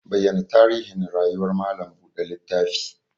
Bayyana tarihin rayuwar malam buɗe littafi!